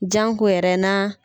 Janko yɛrɛ n'a